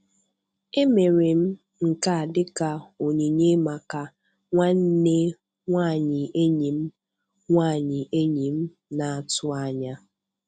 Emere m nke a dịka onyinye maka nwanne nwanyị enyi m nwanyị enyi m na-atụ anya.